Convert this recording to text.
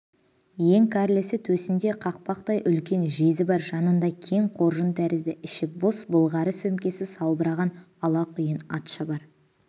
ең кәрлісі төсінде қақпақтай үлкен жезі бар жанында кең қоржын тәрізді іші бос былғары сөмкесі салбыраған алақұйын атшабар